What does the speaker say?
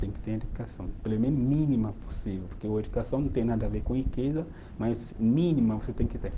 Tem que ter educação, pelo menos mínima possível, porque a educação não tem nada a ver com riqueza, mas mínima você tem que ter.